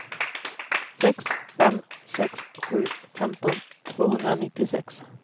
sex fem sex sju femton tvåhundranittiosex